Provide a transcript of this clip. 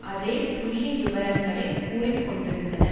அதே புள்ளிவிவரங்களை கூறிக்கொண்டிருந்தன